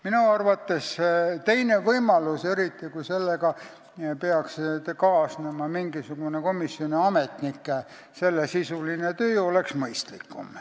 Minu arvates oleks mõistlikum teine võimalus, eriti kui sellega peaks kaasnema mingisugune komisjoni ametnike sellesisuline töö.